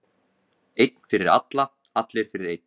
Einn fyrir alla, allir fyrir einn.